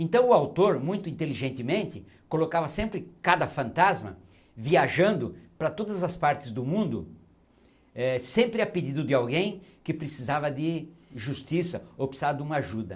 Então o autor, muito inteligentemente, colocava sempre cada fantasma viajando para todas as partes do mundo eh sempre a pedido de alguém que precisava de justiça ou precisava de uma ajuda.